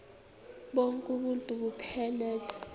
bonk uuntu buphelele